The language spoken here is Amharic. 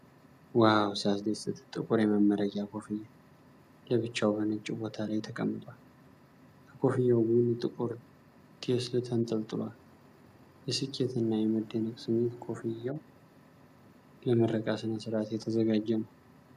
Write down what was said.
ዋው ሲያስደስት! ጥቁር የመመረቂያ ኮፍያ ለብቻው በነጭ ቦታ ላይ ተቀምጧል። ከኮፍያው ጎን ጥቁር ቴስል ተንጠልጥሏል። የስኬትና የመደነቅ ስሜት! ኮፍያው ለምረቃ ሥነ-ሥርዓት የተዘጋጀ ነው።